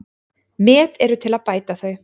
Met eru til að bæta þau.